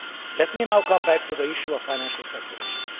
Let me now come back to the issue of financial speculation.